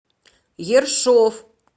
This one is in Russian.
ершов